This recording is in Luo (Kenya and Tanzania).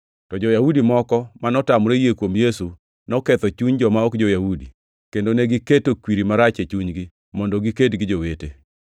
To jo-Yahudi moko ma notamore yie kuom Yesu noketho chuny joma ok jo-Yahudi, kendo negiketo kwiri marach e chunygi, mondo giked gi jowete.